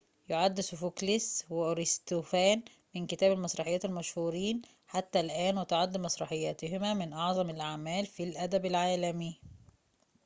يُعد سوفوكليس وأريستوفان من كتاب المسرحيات المشهورين حتى الآن وتعد مسرحياتهما من أعظم الأعمال في الأدب العالمي